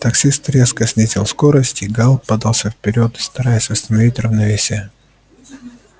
таксист резко снизил скорость и гаал подался вперёд стараясь восстановить равновесие